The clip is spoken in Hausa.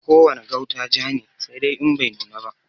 Ko wane gauta ja ne, saidai In bai nuna ba.